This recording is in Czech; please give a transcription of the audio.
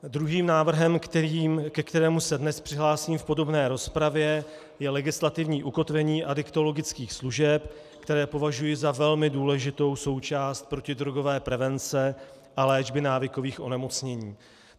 Druhým návrhem, ke kterému se dnes přihlásím v podrobné rozpravě, je legislativní ukotvení adiktologických služeb, které považuji za velmi důležitou součást protidrogové prevence a léčby návykových onemocnění.